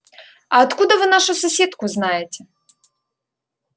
а откуда вы нашу соседку знаете